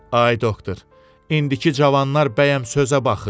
Ay doktor, indiki cavanlar bəyəm sözə baxır?